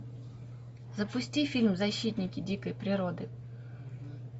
запусти фильм защитники дикой природы